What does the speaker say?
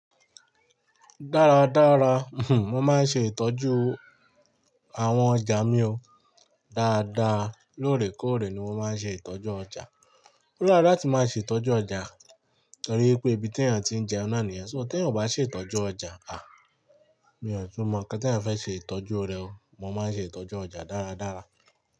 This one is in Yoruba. Dára dára, mo máa ń ṣe ìtọ́jú àwọn ọjà mi o dáadáa. Lóòrèkóòrè ni mo máa ń ṣe ìtọ́jú ọjà. Ó dára láti máa ṣe ìtọ́jú ọjà torí ipé ibi tí èyàn ti ń jẹun náà nìyẹn. So tè èyàn ó bá ṣe ìtọ́jú ọjà, Mi ò tún mọ nkan te èyàn fẹ́ ṣe ìtọ́jú rẹ o. Mo máa ń ṣe ìtọ́jú ọjà dáradára.